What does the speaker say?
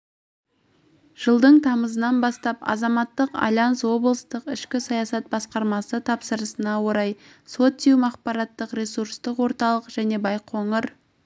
жылдың тамызынан бастап азаматтық альянс облыстық ішкі саясат басқармасы тапсырысына орай социум ақпараттық-ресурстық орталық және байқоңыр